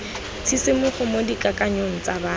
tshisimogo mo dikakanyong tsa batho